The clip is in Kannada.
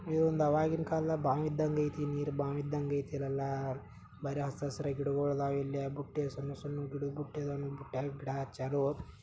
ಇದೊಂದು ಅವಾಗಿನ್ ಕಾಲ್ದಲ್ಲಿ ಬಾವಿ ಇದ್ದಂಗ್ ಐತಿ ಬಾವಿ ಇದ್ದಂಗೆ ಐತಿ ಇದೆಲ್ಲ ಬರಿ ಹಸಿರು ಹಸಿರು ಗಿಡಗಳು ಇದಾವೆ ಇಲ್ಲಿ ಎಲ್ಲಾ ಬುಟ್ಟಿಗಳು ಸಣ್ಣ ಸಣ್ಣ ಗಿಡಗಳು ಬುಟ್ಟಿದ್ದವು ಬುಟ್ಟ್ಯಗ್ ಗಿಡ ಹಚ್ಚಾರು.